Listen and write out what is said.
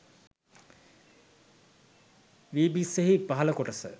වී බිස්සෙහි පහල කොටස